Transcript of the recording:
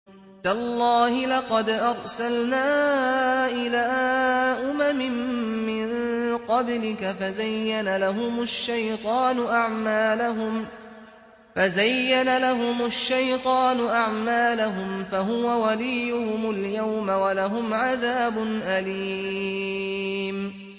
تَاللَّهِ لَقَدْ أَرْسَلْنَا إِلَىٰ أُمَمٍ مِّن قَبْلِكَ فَزَيَّنَ لَهُمُ الشَّيْطَانُ أَعْمَالَهُمْ فَهُوَ وَلِيُّهُمُ الْيَوْمَ وَلَهُمْ عَذَابٌ أَلِيمٌ